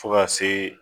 Fo ka se